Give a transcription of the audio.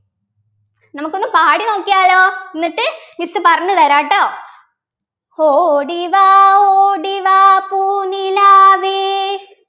miss പറഞ്ഞു തരാട്ടോ ഓടിവാ ഓടിവാ പൂനിലാവേ